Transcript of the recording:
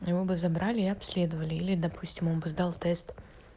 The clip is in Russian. его бы забрали и обследовали или допустим он бы сдал тест